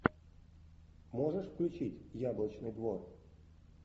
можешь включить яблочный двор